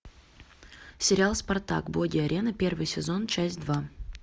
сериал спартак боги арены первый сезон часть два